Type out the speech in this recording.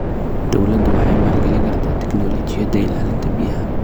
Dawladdu waxay maalgelin kartaa tignoolajiyada ilaalinta biyaha.